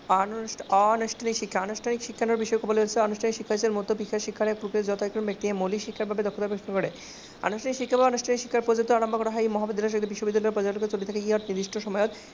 অনানুষ্ঠানিক শিক্ষা বিষয়ে কবলৈ লৈছো । আনুষ্ঠানিক শিক্ষা